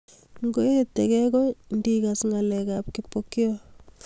Koetekei ko ngikas ngalekab Kipokeo